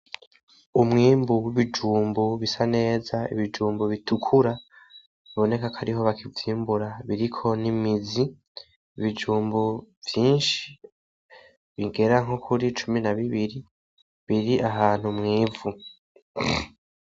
Umwimbu w’ibijunbu bisa neza , ibijumbu bitukura biboneka kwariho bakivyimbura biriko n’imizi ,ibijumbu vyinshi bigera nko kuri cumi na bibiri biri ahantu mw’ivu.